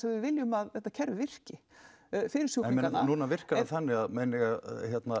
við viljum að þetta kerfi virki fyrir sjúklingana núna virkar það þannig að